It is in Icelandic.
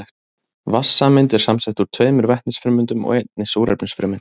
Vatnssameind eru samsett úr tveimur vetnisfrumeindum og einni súrefnisfrumeind.